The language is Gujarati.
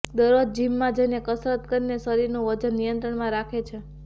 દરરોજ જિમમાં જઈને કસરત કરીને શરીરનું વજન નિયંત્રણમાં રાખે છે